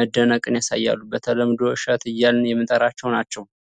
መደነቅን ያሳያሉ። በተለምዶ እሸት እያልን የምንጠራቸው ናቸው።